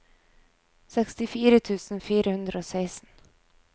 sekstifire tusen fire hundre og seksten